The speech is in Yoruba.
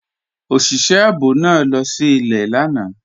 Ọṣìṣẹ̀ ààbò náà lọ sí ilẹ̀ lànà.